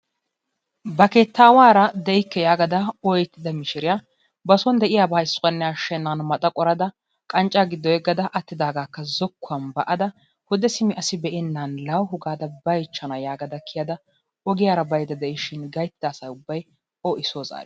Ba keettawaara de'ikke yaagada ooyettida miishiriyaa ba soon de'iyaabaa issuwaanne ashshenan maxa qorada qanccaa giddo yeeggada attidaagakka zookuwaan ba'ada hodde asi be'enan laawuhu gaada baychchana yaagada kiyada ogiyaara baydda de'ishin gayttida asa ubbay o i soo zaariis.